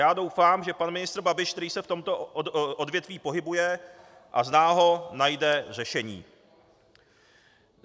Já doufám, že pan ministr Babiš, který se v tomto odvětví pohybuje a zná ho, najde řešení.